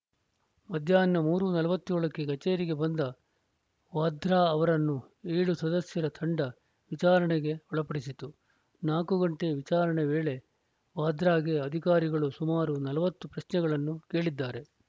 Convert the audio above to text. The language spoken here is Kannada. ಮಧ್ಯಾಹ್ನ ಮೂರು ನಲವತ್ತ್ ಏಳಕ್ಕೆ ಕಚೇರಿಗೆ ಬಂದ ವಾದ್ರಾ ಅವರನ್ನು ಏಳು ಸದಸ್ಯರ ತಂಡ ವಿಚಾರಣೆಗೆ ಒಳಪಡಿಸಿತು ನಾಲ್ಕು ಗಂಟೆ ವಿಚಾರಣೆ ವೇಳೆ ವಾದ್ರಾಗೆ ಅಧಿಕಾರಿಗಳು ಸುಮಾರು ನಲವತ್ತು ಪ್ರಶ್ನೆಗಳನ್ನು ಕೇಳಿದ್ದಾರೆ